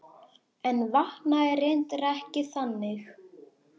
En vaknaði reyndar ekki þannig.